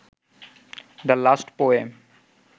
the last poem